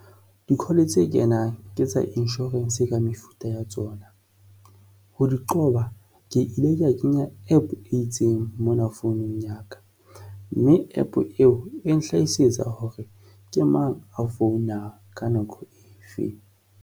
Di-call tse kenang ke tsa insurance, ka mefuta ya tsona ho di qoba ke ile ka kenya APP e itseng mona founung ya ka, mme APP eo e nhlahisetsa hore ke mang a founa ka nako e feng.